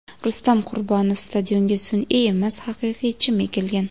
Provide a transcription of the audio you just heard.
Rustam Qurbonov: Stadionga sun’iy emas, haqiqiy chim ekilgan.